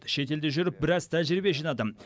шетелде жүріп біраз тәжірибе жинадым